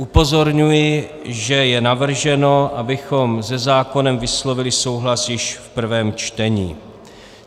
Upozorňuji, že je navrženo, abychom se zákonem vyslovili souhlas již v prvém čtení.